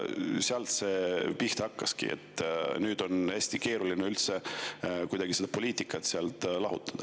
Sealt see pihta hakkaski ja nüüd on hästi keeruline üldse kuidagi poliitikat sealt lahutada.